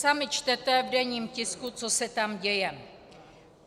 Sami čtete v denní tisku, co se tam děje.